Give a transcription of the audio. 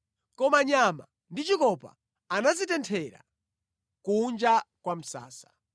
Koma nyama ndi chikopa anazitenthera kunja kwa msasa.